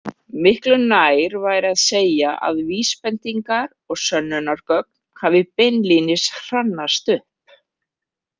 Miklu nær væri að segja að vísbendingar og sönnunargögn hafi beinlínis hrannast upp.